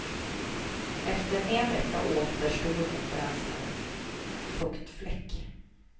Efter en vecka återstod inte ens en fuktfläck.